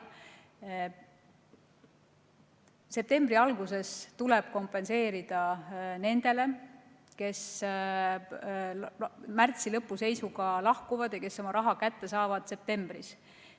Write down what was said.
Septembri alguses tuleb kompenseerida nendele, kes märtsi lõpu seisuga lahkuvad ja kes saavad oma raha kätte septembris.